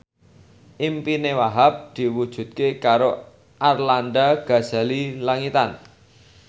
impine Wahhab diwujudke karo Arlanda Ghazali Langitan